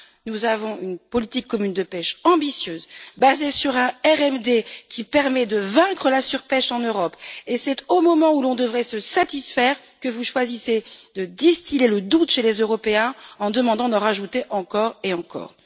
Nous avons une politique commune de pêche ambitieuse basée sur un RMD qui permet de vaincre la surpêche en Europe et c'est au moment où l'on devrait se satisfaire que vous choisissez de distiller le doute chez les Européens, en demandant d'en rajouter encore et encore.